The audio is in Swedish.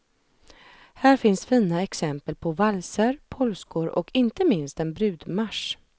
Här finns fina exempel på valser, polskor och inte minst en brudmarsch.